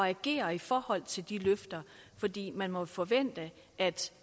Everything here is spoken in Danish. agere i forhold til de løfter fordi man må forvente at